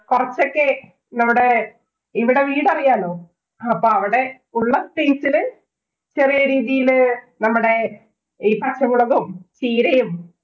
കൊറച്ചൊക്കെ നമ്മുടെ ഇവിടെ വീടറിയാലോ. ആഹ് അപ്പം അവിടെ ഉള്ള space ഇല് ചെറിയ രീതിയില് നമ്മടെ ഈ പച്ചമുളകും, ചീരയും